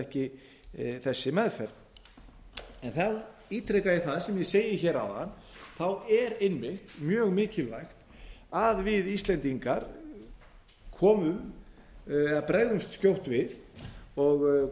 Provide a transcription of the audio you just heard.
ekki þessi meðferð þá ítreka ég það sem ég segi hér áðan að þá e r einmitt mjög mikilvægt að við íslendingar komum eða bregðumst skjótt við og